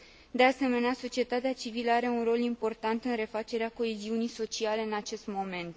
De asemenea, societatea civilă are un rol important în refacerea coeziunii sociale în acest moment.